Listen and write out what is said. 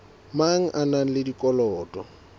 mang a na le dikotola